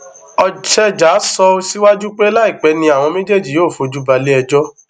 ocheja sọ síwájú pé láìpẹ ni àwọn méjèèjì yóò fojú ba ileẹjọ